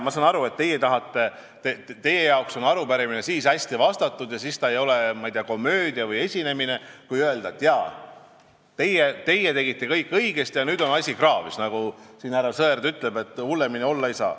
Ma saan aru, et teie arvates on arupärimine siis hästi vastatud ega ole, ma ei tea, komöödia või esinemine, kui öelda, et jaa, teie tegite kõik õigesti ja nüüd on asi kraavis, või nagu härra Sõerd ütleb, et hullemini olla ei saa.